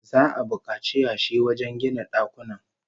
Za'a bukaci yashi wajen gina dakunan